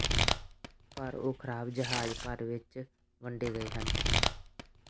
ਪਰ ਉਹ ਖਰਾਬ ਜਹਾਜ਼ ਭਰ ਵਿੱਚ ਵੰਡੇ ਗਏ ਹਨ